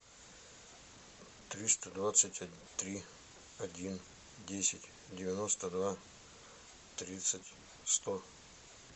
триста двадцать три один десять девяносто два тридцать сто